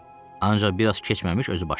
Ancaq biraz keçməmiş özü başladı.